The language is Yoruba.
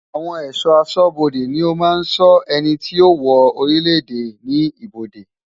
Àwon è̩só̩ asó̩bodè ni ó maa ń so̩ e̩nití yío wo̩ orílèdè ní ibodè.